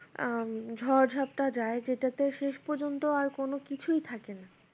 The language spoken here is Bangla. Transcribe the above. আহ ঝড় ঝাপটা যায় যেটাতে শেষ পর্যন্ত আর কোনো কিছুই থাকেনা